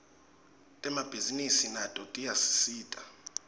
temabhisinisi nato tiyasisita